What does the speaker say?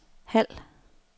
halv